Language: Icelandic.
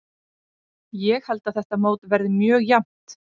Ég held að þetta mót verði mjög jafnt.